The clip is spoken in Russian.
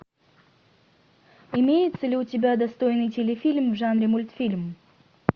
имеется ли у тебя достойный телефильм в жанре мультфильм